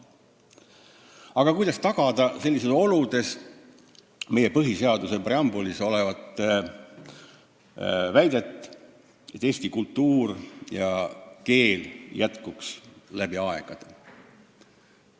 Aga kuidas tagada sellistes oludes meie põhiseaduse preambulis olev väide, et eesti kultuur ja keel jätkuks läbi aegade?